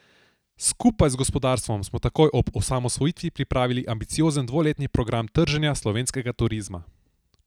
Skupaj z gospodarstvom smo takoj ob osamosvojitvi pripravili ambiciozen dvoletni program trženja slovenskega turizma.